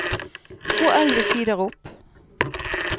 Gå elleve sider opp